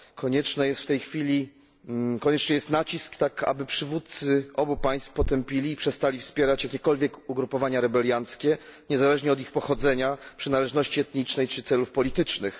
Konieczny jest nacisk, tak aby przywódcy obu państw potępili i przestali wspierać jakiekolwiek ugrupowania rebelianckie, niezależnie od ich pochodzenia, przynależności etnicznej czy celów politycznych.